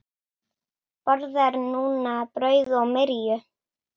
Borðar núna brauð og myrju.